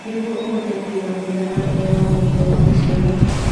Nĩguo ũhote kũiga mũigana ũrĩa wagĩrĩire wa maciaro